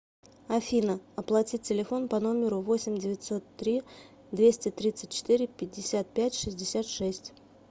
афина оплатить телефон по номеру восемь девятьсот три двести тридцать четыре пятьдесят пять шестьдесят шесть